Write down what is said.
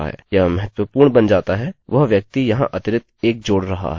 यह महत्वपूर्ण बन जाता है वह व्यक्ति यहाँ अतिरिक्त 1 जोड़ रहा है